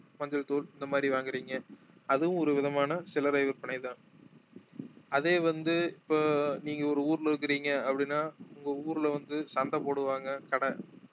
மஞ்சள் தூள் இந்த மாதிரி வாங்குறீங்க அதுவும் ஒரு விதமான சில்லறை விற்பனை தான் அதே வந்து இப்ப நீங்க ஒரு ஊர்ல இருக்குறீங்க அப்படின்னா உங்க ஊர்ல வந்து சந்தை போடுவாங்க கடை